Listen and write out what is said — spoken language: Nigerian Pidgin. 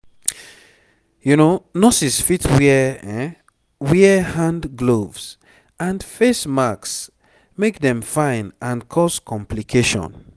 nurses fit wear wear hand gloves and face masks make dem fine and cause complication